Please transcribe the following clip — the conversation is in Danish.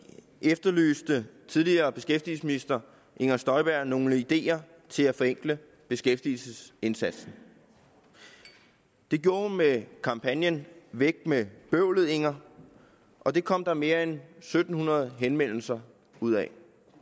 efterlyste tidligere beskæftigelsesminister inger støjberg nogle ideer til at forenkle beskæftigelsesindsatsen det gjorde hun med kampagnen væk med bøvlet inger og det kom der mere end en syv hundrede henvendelser ud af